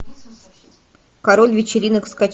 король вечеринок